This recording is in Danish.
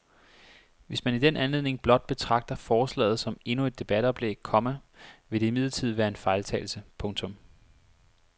Hvis man i den anledning blot betragter forslaget som endnu et debatoplæg, komma vil det imidlertid være en fejltagelse. punktum